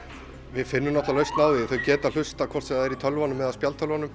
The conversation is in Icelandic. við finnum lausn á því þau geta hlustað hvort sem það er í tölvunum eða spjaldtölvunum